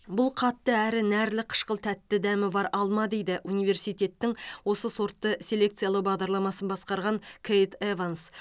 бұл қатты әрі нәрлі қышқыл тәтті дәмі бар алма дейді университеттің осы сортты селекциялау бағдарламасын басқарған кейт эванс